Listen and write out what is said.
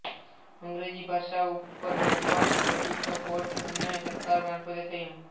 અંગ્રેજી ભાષા ઉપર નોર્માનનું પ્રભુત્વ કોર્ટ અને સરકાર મારફતે થયું